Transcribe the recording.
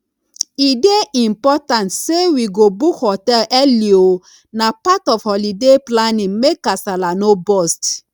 e dey important say we go book hotel early oo na part of holiday planning make kasala no burst